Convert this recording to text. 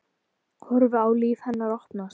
Horfi á líf hennar opnast.